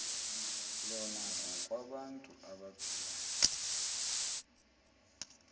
lona ngokwabantu abaphila